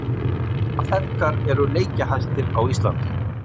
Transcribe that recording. Hvaða feðgar eru leikjahæstir á Íslandi?